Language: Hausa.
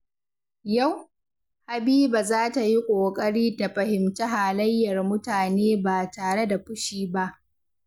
Yau, Habiba za ta yi ƙoƙari ta fahimci halayyar mutane ba tare da fushi ba.